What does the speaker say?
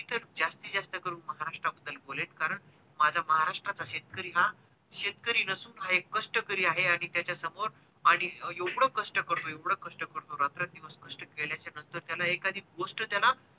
जास्तीत जास्त करून महाराष्ट्रा बद्दल बोलेल कारण माझा महाराष्ट्राचा शेतकरी हा शेतकरी नसून हा एक कष्टकरी आहे आणि त्याचा समोर आणि एवढे कष्ट करतो एवढे कष्ट करतो रात्रंदिवस कष्ट केल्याचा नंतर त्याला एखादी गोष्ट त्याला गोष्टी पर्यंत